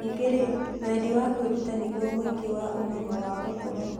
Ningĩ-rĩ, wendi wa kwĩruta nĩguo mũthingi wa ũmenyo wa gũkũra.